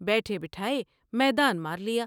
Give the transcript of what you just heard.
بیٹھے بٹھاۓ میدان مارلیا ۔